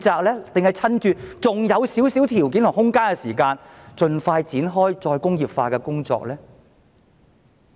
還是趁目前還有一點條件和空間，盡快展開再工業化的工作？